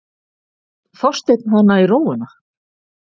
Þorsteinn hana í rófuna.